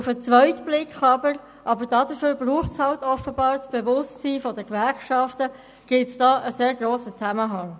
Auf den zweiten Blick aber – und dafür braucht es offenbar das Bewusstsein der Gewerkschaften – gibt es einen sehr grossen Zusammenhang.